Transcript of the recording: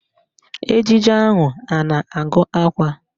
Ejije ahụ a na-agụ akwa?